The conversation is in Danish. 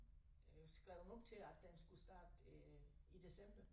Øh skrevet op til at den skulle starte øh i december